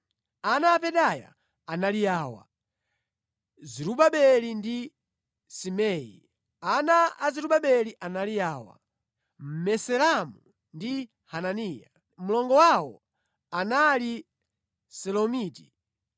Ana a Pedaya anali awa: Zerubabeli ndi Simei. Ana a Zerubabeli anali awa: Mesulamu ndi Hananiya. Mlongo wawo anali Selomiti.